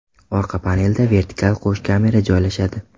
Orqa panelda vertikal qo‘sh kamera joylashadi.